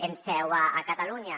amb seu a catalunya